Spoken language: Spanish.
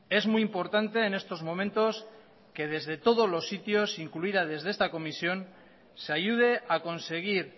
es muy importante en estos momentos que desde todos los sitios incluida desde esta comisión se ayude a conseguir